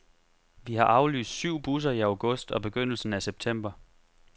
Vi har aflyst syv busser i august og begyndelsen af september.